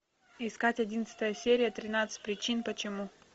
искать одиннадцатая серия тринадцать причин почему